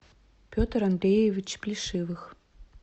петр андреевич плешивых